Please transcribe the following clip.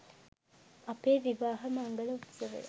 අපේ විවාහ මංගල උත්සවය